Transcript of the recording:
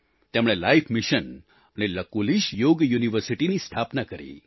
તેમણે life mission અને લકુલિશ યોગ યુનિવર્સિટીની સ્થાપના કરી